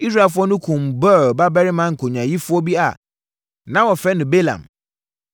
Israelfoɔ no kumm Beor babarima nkonyaayifoɔ bi a na wɔfrɛ no Balaam.